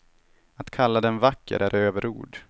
Att kalla den vacker är överord.